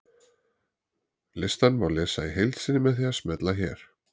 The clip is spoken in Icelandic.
Listann má lesa í heild sinni með því að smella hér.